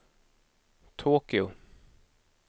Tokyo